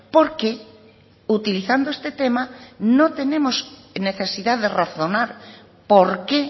porque utilizando este tema no tenemos necesidad de razonar por qué